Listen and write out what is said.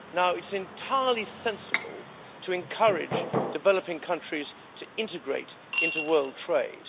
It's entirely sensible to encourage developing countries to integrate into world trade.